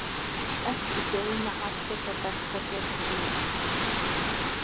Ekki geyma allir það besta til þess síðasta.